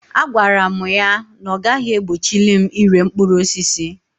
A gwara mụ ya na ọ gaghị egbochili m ire mkpụrụ osisi.